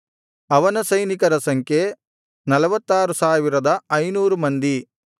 ಅವನ ಸೈನಿಕರ ಸಂಖ್ಯೆ 46500 ಮಂದಿ